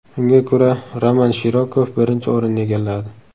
Unga ko‘ra Roman Shirokov birinchi o‘rinni egalladi.